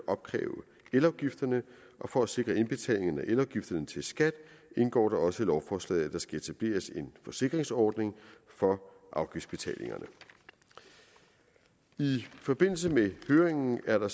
at opkræve elafgifterne og for at sikre indbetalingerne af elafgifterne til skat indgår det også i lovforslaget at der skal etableres en forsikringsordning for afgiftsbetalingerne i forbindelse med høringen er der